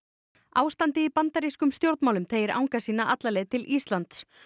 ástandið í bandarískum stjórnmálum teygir anga sína alla leið til Íslands